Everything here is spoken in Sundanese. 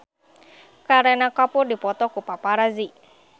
Kareena Kapoor dipoto ku paparazi